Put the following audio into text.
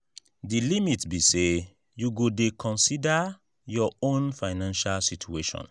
di limit be say you go dey consider your own financial situation.